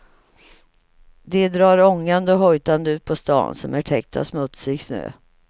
De drar ångande och hojtande ut på stan som är täckt av smutsig snö.